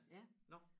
Ja